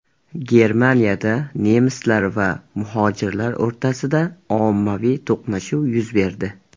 Germaniyada nemislar va muhojirlar o‘rtasida ommaviy to‘qnashuv yuz berdi.